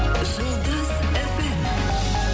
жұлдыз фм